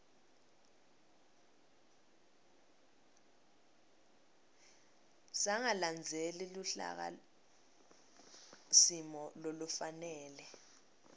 sangalandzeli luhlakasimo lolufanele